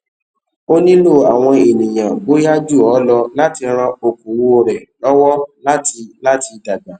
o nílò àwọn ènìyàn bóyá jù ọ lọ láti ran okòwò rẹ lọwọ láti láti dàgbà